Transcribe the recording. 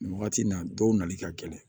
Nin wagati in na dɔw nali ka gɛlɛn